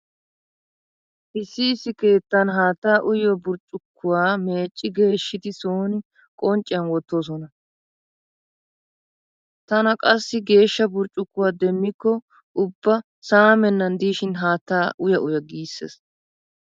Issi issi keettan haatta uyiyo burccukkuwa meecci geeshshidi sooni qoncciyan wottoosona. Taana qassi geeshsha burccukkuwa demmikko ubba saamennan diishin haattaa uya uya giissees.